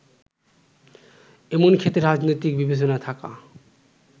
এমন ক্ষেত্রে রাজনৈতিক বিবেচনা থাকা